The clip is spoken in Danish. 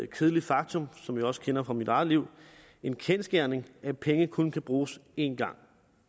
kedeligt faktum som jeg også kender fra mit eget liv en kendsgerning at penge kun kan bruges én gang